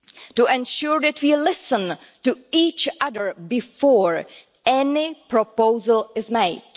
to ensure that we listen to each other before any proposal is made